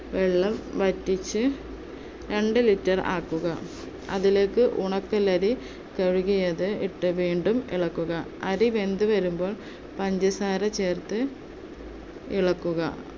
വെള്ളം വറ്റിച്ചു രണ്ട് liter ആക്കുക, അതിലേക്ക് ഉണക്കലരി കഴുകിയത് ഇട്ട് വീണ്ടും ഇളക്കുക. അരി വെന്തു വരുമ്പോൾ പഞ്ചസാര ചേർത്ത് ഇളക്കുക